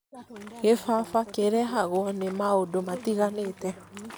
kĩbaba kĩrehagwo nĩ maũndũ matiganĩte